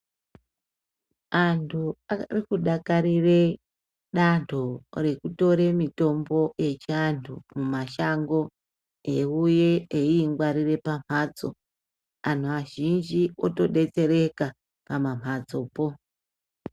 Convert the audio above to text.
Antu arikudakarire dando rekutora mitombo echiantu mumashango eiuya eingwarira mumbatso antu azhinji otodetsereka pamambatsopo.